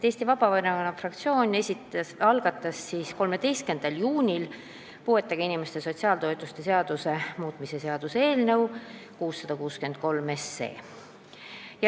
Eesti Vabaerakonna fraktsioon algatas 13. juunil puuetega inimeste sotsiaaltoetuste seaduse muutmise seaduse eelnõu 663.